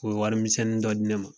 U ye wari minin dɔ di ne ma